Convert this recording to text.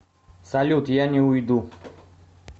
салют я не уйду